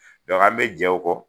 an bɛ jɛn o kɔ